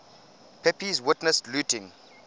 pepys witnessed looting